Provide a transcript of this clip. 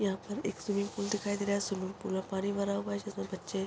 यहाँ पर एक स्विमिंग पूल दिखाई दे रहा है स्विमिंग पूल में पानी भरा हुआ है जिसमे बच्चे --